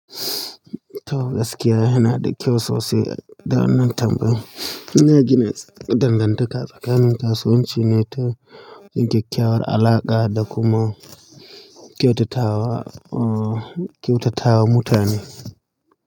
Toh gaskiya yana da kyau sosai da wannan tambayan. Ina gina dangantaka tsakanin kasuwanci ne ta kyakkyawar alaƙa da kuma kyautatawa, uh, kyautatawa mutane.